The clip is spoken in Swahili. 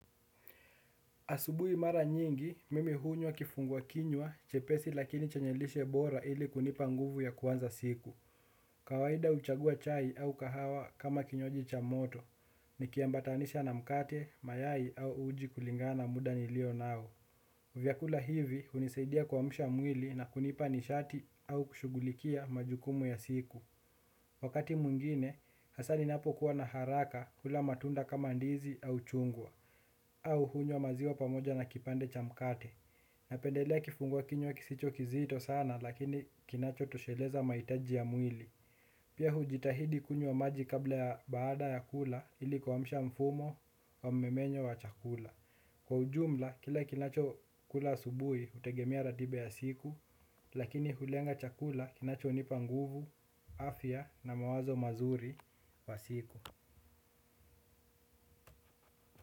Asubui mara nyingi, mimi hunywa kifunguwa kinywa, chepesi lakini chenyelishe bora ili kunipa nguvu ya kwanza siku. Kawaida uchagua chai au kahawa kama kinyoaji cha moto, nikiambatanisha na mkate, mayai au uji kulingana muda nilio nao. Vyakula hivi, unisaidia kwamsha mwili na kunipa nishati au kushugulikia majukumu ya siku. Wakati muingine, hasani ninapokuwa na haraka hula matunda kama ndizi au chungwa. Au hunywa maziwa pamoja na kipande cha mkate. Napendelea kifunguwa kinywa kisicho kizito sana lakini kinacho tosheleza maitaji ya mwili. Pia hujitahidi kunyo maji kabla ya baada ya kula ili kuwamsha mfumo wa memenyo wa chakula. Kwa ujumla kila kinacho kula asubuhi utegemea ratiba ya siku. Lakini hulenga chakula kinacho nipa nguvu, afya na mawazo mazuri wa siku.